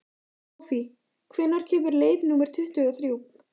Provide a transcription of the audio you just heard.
Hófí, hvenær kemur leið númer tuttugu og þrjú?